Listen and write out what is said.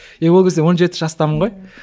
е ол кезде он жеті жастамын ғой